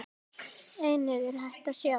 Einnig er hægt að sjá.